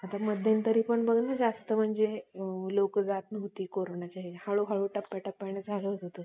आता मध्यंतरी बघ ना जास्त म्हणजे लोक जात नव्हती करण्याच्या ह्याच्यात हळूहळू टप्प्याटप्प्यात चालू होतं सगळं